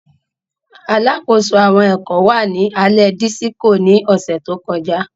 Alakoso awọn ẹkọ wa ni alẹ Disiko ni ọsẹ to kọja.